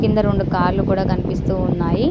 కింద రెండు కార్లు కూడా కనిపిస్తూ ఉన్నాయి .